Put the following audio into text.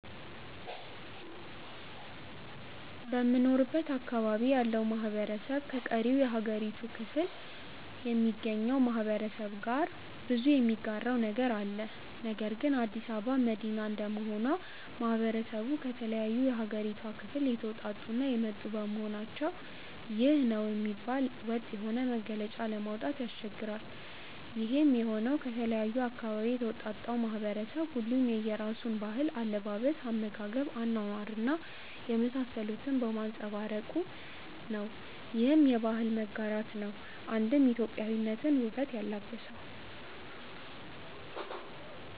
በምኖርበት አካባቢ ያለው ማህበረሰብ ከቀሪው የሀገሪቱ ክፍሎ ከሚገኘው ማህበረሰብ ጋር ብዙ የሚጋራው ነገር አለ። ነገር ግን አዲስ አበባ መዲና እንደመሆኑ ማህበረሰቡ ከተለያዩ የሀገሪቷ ክፍል የተወጣጡ እና የመጡ በመሆናቸው ይህ ነው የሚባል ወጥ የሆነ መገለጫ ለማውጣት ያስቸግራል። ይሄም የሆነው ከተለያየ አካባቢ የተውጣጣው ማህበረሰብ ሁሉም የየራሱን ባህል፣ አለባበስ፣ አመጋገብ፣ አኗኗር እና የመሳሰሉትን በማንፀባረቁ ነው። ይህም የባህል መጋራት ነው አንድም ኢትዮጵያዊነትን ውበት ያላበሰው።